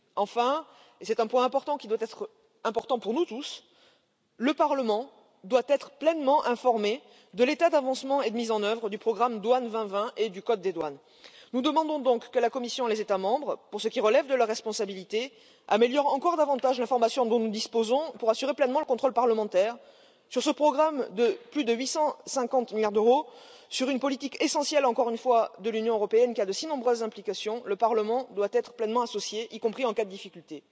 Enfin, et c'est un point qui doit être important pour nous tous, le Parlement doit être pleinement informé de l'état d'avancement et de mise en œuvre du programme Douane 2020 et du code des douanes. Nous demandons donc que la Commission et les États membres, pour ce qui relève de leur responsabilité, améliorent encore davantage l'information dont nous disposons pour assurer pleinement le contrôle parlementaire sur ce programme de plus de 850 milliards d'euros, sur une politique essentielle encore une fois de l'Union européenne, qui a de si nombreuses implications le Parlement doit être pleinement associé, y compris en cas de difficulté.